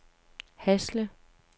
Hasle